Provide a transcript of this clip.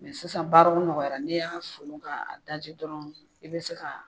sisan baaraw nɔgɔyara ,ni y'a folon ka daji dɔrɔn i be se ka